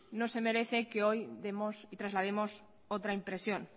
no se merece que hoy demos y traslademos otra impresión